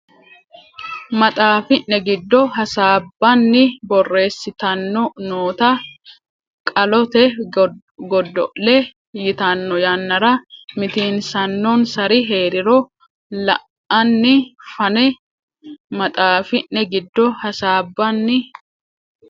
maxaafi ne giddo hasaabbanni borreessittanno noota Qolleete Godo le yitanno yannara mitiinsannonsari heeriro la anni fanne maxaafi ne giddo hasaabbanni.